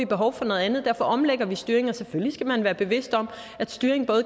behov for noget andet og derfor omlægger vi styringen og selvfølgelig skal man være bevidst om at styring